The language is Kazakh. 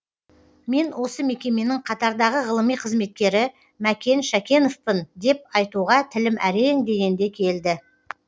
мен осы мекеменің қатардағы ғылыми қызметкері мәкен шәкеновпын деп айтуға тілім әрең дегенде келді